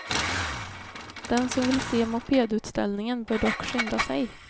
Den som vill se mopedutställningen bör dock skynda sig.